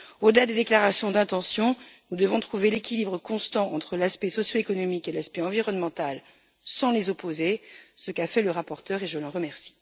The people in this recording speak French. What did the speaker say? Au delà des déclarations d'intention, nous devons trouver l'équilibre constant entre l'aspect socio économique et l'aspect environnemental, sans les opposer, ce qu'a fait le rapporteur, et je l'en remercie.